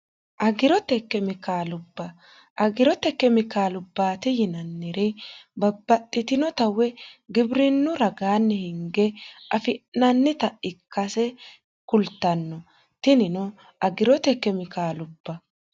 agirote kemiklubba agirote kemikaalubbaate yinanniri babbaxxitinota we gibirinu ragaanni hinge afi'nannita ikkase kultanno tinino agirote kemikaalubba